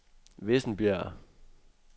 Vissenbjerg